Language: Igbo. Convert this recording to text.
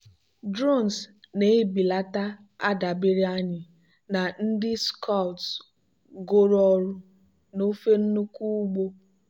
drones na-ebelata adabere anyị na ndị scouts goro ọrụ n'ofe nnukwu ugbo.